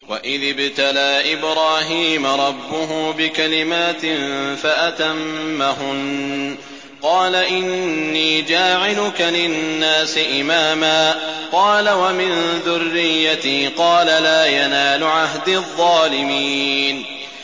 ۞ وَإِذِ ابْتَلَىٰ إِبْرَاهِيمَ رَبُّهُ بِكَلِمَاتٍ فَأَتَمَّهُنَّ ۖ قَالَ إِنِّي جَاعِلُكَ لِلنَّاسِ إِمَامًا ۖ قَالَ وَمِن ذُرِّيَّتِي ۖ قَالَ لَا يَنَالُ عَهْدِي الظَّالِمِينَ